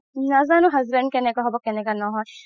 ন্জানো husband কেনেকুৱা হ'ব কেনেকা নহয়